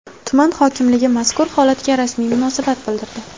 Tuman hokimligi mazkur holatga rasmiy munosabat bildirdi .